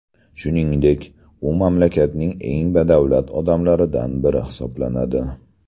Shuningdek, u mamlakatning eng badavlat odamlaridan biri hisoblanadi.